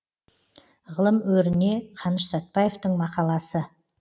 ғылым өріне қаныш сәтбаевтың мақаласы